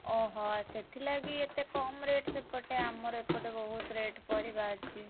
ଓହୋ ସେଥିଲାଗି ଏତେ କମ୍ rate ସେପଟେ ଆମର ଏପଟେ ବହୁତ୍ rate ପରିବା ଅଛି।